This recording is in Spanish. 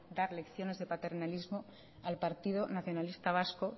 dar lecciones de paternalismo al partido nacionalista vasco